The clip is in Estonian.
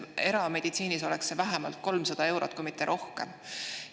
Erameditsiinis oleks see vähemalt 300 eurot, kui mitte rohkem.